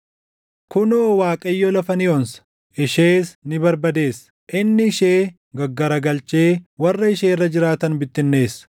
Kunoo, Waaqayyo lafa ni onsa; ishees ni barbadeessa; inni ishee gaggaragalchee warra ishee irra jiraatan bittinneessa;